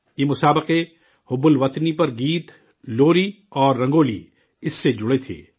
یہ مقابلے حب الوطنی پر 'گیت'، 'لوری' اور 'رنگولی' اس سے جڑی تھیں